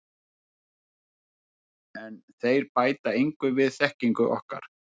En þeir bæta engu við þekkingu okkar.